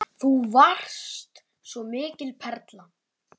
Þú varst svo mikil perla.